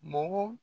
Mɔgɔ